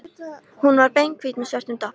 Hún var beinhvít með svörtum doppum.